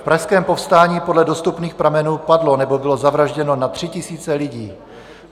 V Pražském povstání podle dostupných pramenů padlo nebo bylo zavražděno na tři tisíce lidí.